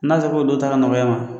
N'a sago o don taara nɔgɔya ma